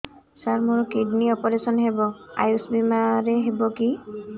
ସାର ମୋର କିଡ଼ନୀ ଅପେରସନ ହେବ ଆୟୁଷ ବିମାରେ ହେବ କି